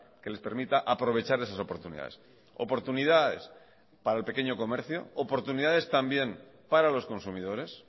que les permita aprovechar esas oportunidades oportunidades para el pequeño comercio oportunidades también para los consumidores